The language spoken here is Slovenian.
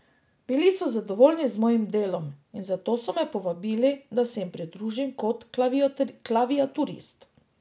Bili so zadovoljni z mojim delom, in zato so me povabili, da se jim pridružim kot klaviaturist.